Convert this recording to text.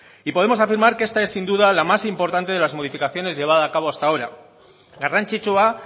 y podemos afirmar que esta es sin duda la más importante de las modificaciones llevada a cabo hasta ahora garrantzitsua